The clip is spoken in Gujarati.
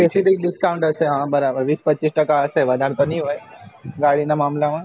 discount હા બરાબર વિશ પચીસ ટકા હશે વધાર તો નહિ હોય ગાડી ના મામબલા માં